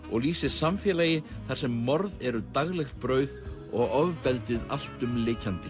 og lýsir samfélagi þar sem morð eru daglegt brauð og ofbeldið allt um lykjandi